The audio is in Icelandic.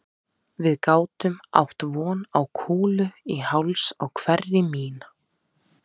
Við gátum átt von á kúlu í háls á hverri mín